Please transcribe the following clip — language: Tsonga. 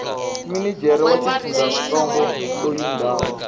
minijere wa xifundzantsongo loyi ndhawu